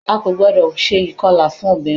A kò gbọ́dọ̀ se ìkọlà fún obìnrin